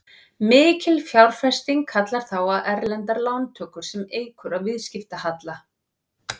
Mikil fjárfesting kallar þá á erlendar lántökur sem eykur á viðskiptahalla.